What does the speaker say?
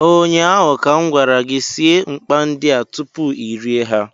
ụnyaahụ ka m gwara gị, sie mkpay ndị a tupu I rie ha